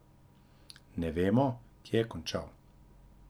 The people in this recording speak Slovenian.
Ne vemo, kje je končal.